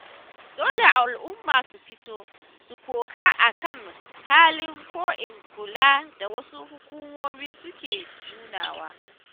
Dole al'umma su fito, su koka a kan halin-ko-in-kula da wasu hukumomi suke nunawa.